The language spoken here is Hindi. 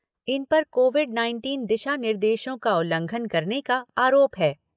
इन पर कोविड नाइनटीन दिशा निर्देशों का उल्लंघन करने का आरोप है।